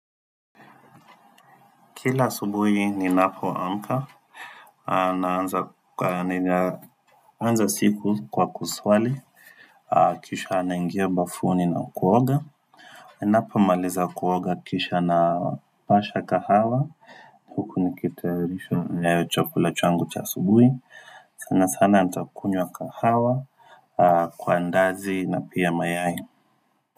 Kila asubuhi ni napoamka anaanza ka nina anza siku kwa kuswali Kisha anaingia bafuni na kuoga inapo maliza kuoga kisha na pasha kahawa Nikitayarisha chakula changu cha asubuhi sana sana ntakunywa kahawa Kwa ndazi na pia mayai.